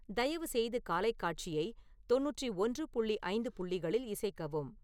தயவுசெய்து காலைக் காட்சியை தொண்ணூற்றி ஒன்று புள்ளி ஐந்து புள்ளிகளில் இசைக்கவும்